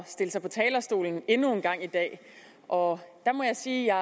stille sig på talerstolen endnu en gang i dag og der må jeg sige at